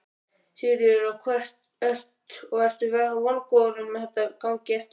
Sigríður: Og ertu vongóður um að þetta gangi eftir?